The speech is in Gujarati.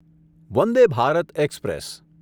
વંદે ભારત એક્સપ્રેસ